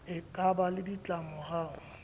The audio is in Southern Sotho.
e ka ba le ditlamorao